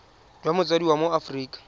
jwa motsadi wa mo aforika